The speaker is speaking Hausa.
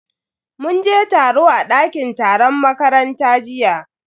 Mun je taro a dakin taron makaranta jiya.